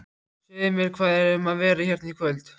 Segðu mér, hvað er um að vera hérna í kvöld?